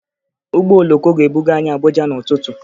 Ụgbọ oloko ga-ebuga anyị Abuja n'ụtụtụ